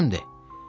O kimdir?